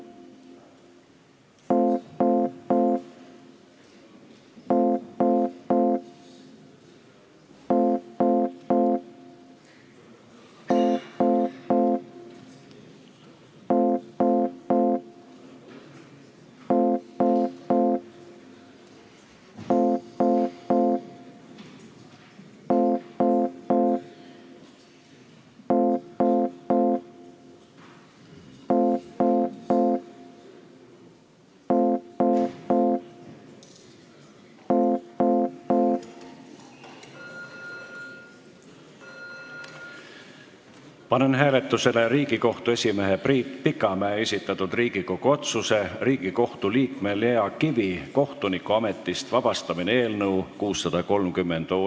Panen hääletusele Riigikohtu esimehe Priit Pikamäe esitatud Riigikogu otsuse "Riigikohtu liikme Lea Kivi kohtunikuametist vabastamine" eelnõu 630.